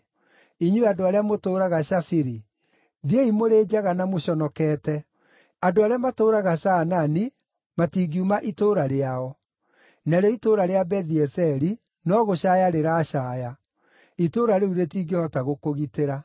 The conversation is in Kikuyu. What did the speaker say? Inyuĩ andũ arĩa mũtũũraga Shafiri, thiĩi mũrĩ njaga na mũconokete. Andũ arĩa matũũraga Zaanani matingiuma itũũra rĩao. Narĩo itũũra rĩa Bethi-Ezeli no gũcaaya rĩracaaya, itũũra rĩu rĩtingĩhota gũkũgitĩra.